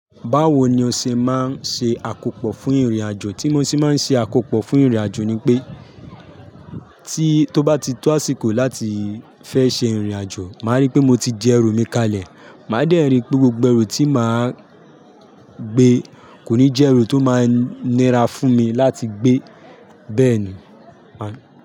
Báwo ni o ṣe máa ń ṣe àkópò fún ìrìnàjò? Tí mo sì máa ń ṣe àkópò fún ìrìnàjò ni pé, tí tó bá ti tó àsìkò láti fẹ́ ṣe ìrìnàjò, màá rí pé mo ti jẹ ẹrù mi kalẹ̀. Màá dẹ̀ ń rí pé gbogbo ẹrù tí màá gbé kò ní jẹ́ ẹrù tó máa ń nira fún mi láti gbé. Bẹ́ẹ̀ ni, màá.